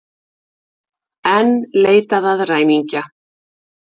Enn leitað að ræningja